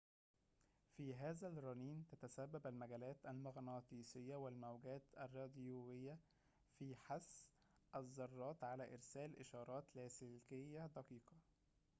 في هذا الرنين تتسبب المجالات المغناطيسيّة والموجات الراديويّة في حث الذرّات على إرسال إشارات لاسلكية دقيقة